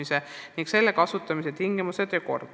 See on nüüd selle 9,5 miljoni küsimus.